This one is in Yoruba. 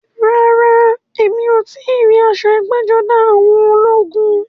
Rárá, mi ò tíì rí aṣọ ẹgbẹ́-jọdá àwọn ológun.